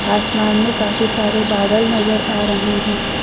आसमान में काफी सारे बादल नजर आ रहे हैं।